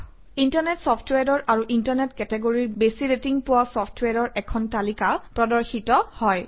internet চফট্ৱেৰৰ আৰু internet কেটেগৰীৰ বেছি ৰেটিং পোৱা চফট্ৱেৰৰ এখন তালিকা প্ৰদৰ্শিত হয়